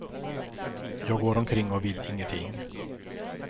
Jag går omkring och vill ingenting.